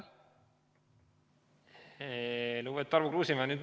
Lugupeetud Tarmo Kruusimäe!